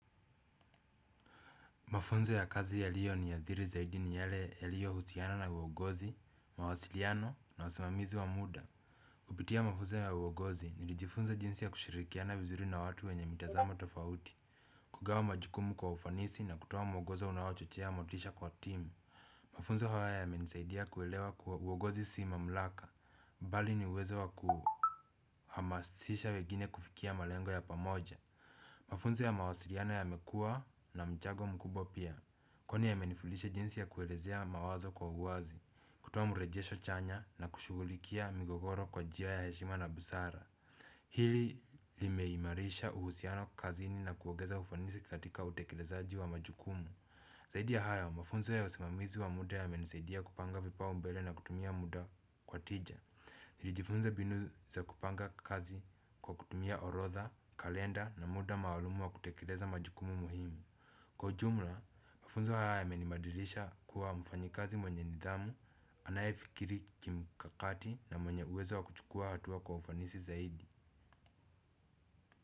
Mafunzo ya kazi yaliyoniathiri zaidi ni yale yaliyo husiana na uogozi, mawasiliano na usimamizi wa muda. Kupitia mafunzo ya uogozi ni lijifunza jinsi ya kushirikiana vizuri na watu wenye mitazamo tofauti. Kugawa majukumu kwa ufanisi na kutoa mwogozo unaochochea motisha kwa timu. Mafunzo hawa yamenisaidia kuelewa kuwa uogozi si mamlaka, bali ni uwezo wa kuhamasisha wegine kufikia malengo ya pamoja. Mafunzo ya mawasiliano yamekua na mchango mkubwa pia. Kwani yamenifundisha jinsi ya kuelezea mawazo kwa uwazi. Kutoa mrejesho chanya na kushugulikia migogoro kwa jia ya heshima na busara. Hili limeimarisha uhusiano kazini na kuogeza ufanisi katika utekelezaji wa majukumu. Zahidi ya hayo, mafunzo ya usimamizi wa muda yamenisaidia kupanga vipaumbele na kutumia muda kwa tija. Nilijifunza binu za kupanga kazi kwa kutumia orotha, kalenda na muda maalumu wa kutekeleza majukumu muhimu. Kwa ujumla, mafunzo haya yamenimadilisha kuwa mfanyikazi mwenye nidhamu, anaye fikiri kimkakati na mwenye uwezo wa kuchukua hatua kwa ufanisi zaidi.